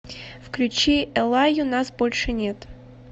включи эллаю нас больше нет